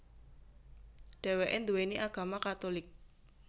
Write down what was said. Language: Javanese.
Dheweke nduweni agama Katulik